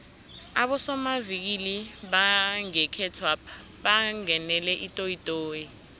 abosomavikili bangekhethwapha bangenele itoyitoyi